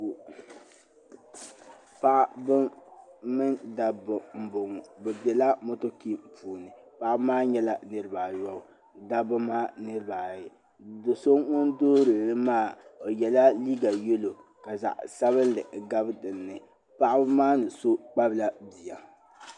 Paɣaba mini dabba m bɔŋɔ bɛ bɛla motokin puuni paɣaba maa nyɛla niriba ayɔbu dabba maa niriba ayi do so ŋun duhirili maa o yɛla liiga yello ka zaɣi sabinli gabi dinni paɣaba ni so kpabla bia.